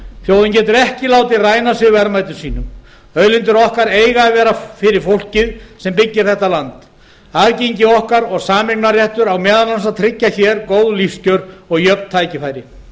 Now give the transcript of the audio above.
þjóðin getur ekki látið ræna sig verðmætum sínum auðlindir okkar eiga að vera fyrir fólkið sem byggir þetta land aðgengi okkar og sameignarréttur á meðal annars að tryggja hér góð lífskjör og jöfn tækifæri